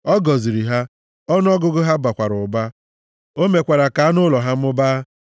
ọ gọziri ha, ọnụọgụgụ ha bakwara ụba, o mekwara ka anụ ụlọ ha mụbaa.